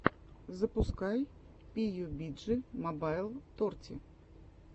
запускай пиюбиджи мобайл торти